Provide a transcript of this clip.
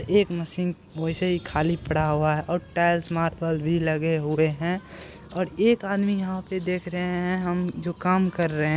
एक मशीन वैसे ही खाली पड़ा हुआ है और टाइल्स मार्वल भी लगे हुए हैं और एक आदमी यहाँ पर देख रहे हैं हम जो काम कर रहे --